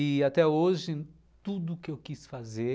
E até hoje, tudo o que eu quis fazer,